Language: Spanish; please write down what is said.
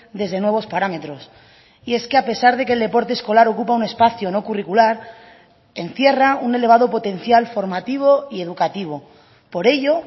desde nuevos parámetros y es que a pesar de que el deporte escolar ocupa un espacio no curricular encierra un elevado potencial formativo y educativo por ello